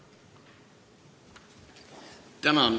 Palun!